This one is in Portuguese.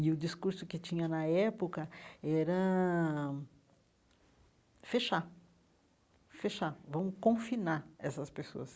E o discurso que tinha na época era fechar, fechar, vamos confinar essas pessoas.